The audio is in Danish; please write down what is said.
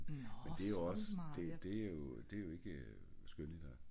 Men det er ogs det det det jo det jo ikke skønlitterær